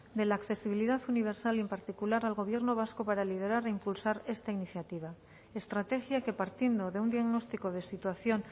de la accesibilidad universal y en particular al gobierno vasco para liderar e impulsar esta iniciativa estrategia que partiendo de un diagnóstico de situación